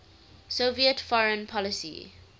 soviet foreign policy